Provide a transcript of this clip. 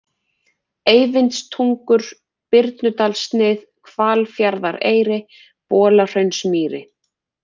Eyvindstungur, Birnudalssnið, Hvalfjarðareyri, Bolahraunsmýri